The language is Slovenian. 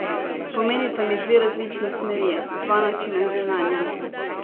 Pomenita mi dve različni smeri, dva načina življenja.